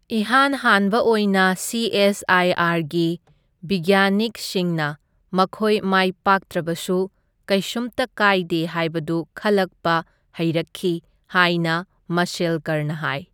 ꯏꯍꯥꯟ ꯍꯥꯟꯕ ꯑꯣꯏꯅ, ꯁꯤꯑꯦꯁꯑꯏꯑꯔꯒꯤ ꯕꯤꯒꯌꯥꯅꯤꯛꯁꯤꯡꯅ ꯃꯈꯣꯏ ꯃꯥꯏ ꯄꯥꯛꯇ꯭ꯔꯕꯁꯨ ꯀꯩꯁꯨꯝꯇ ꯀꯥꯏꯗꯦ ꯍꯥꯏꯕꯗꯨ ꯈꯜꯂꯛꯄ ꯍꯩꯔꯛꯈꯤ ꯍꯥꯏꯅ ꯃꯥꯁꯦꯜꯀꯔꯅ ꯍꯥꯏ꯫